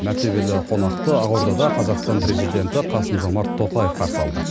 мәртебелі қонақты ақордада қазақстан президенті қасым жомарт тоқаев қарсы алды